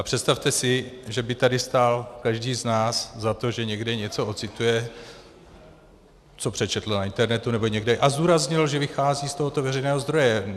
A představte si, že by tady stál každý z nás za to, že někde něco ocituje, co přečetl na internetu nebo někde, a zdůraznil, že vychází z tohoto veřejného zdroje.